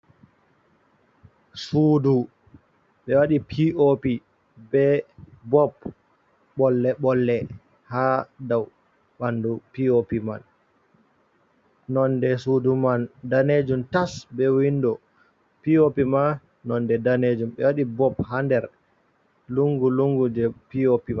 Suudu ɓe waɗi pi'opi be bob bolle-bolle ha dow ɓandu pi’opi man. Nonde suudu man danejum tas be windo, pi'opi ma nonde danejum ɓe wadi bob ha nder lungu-lungu je pi'opi mai.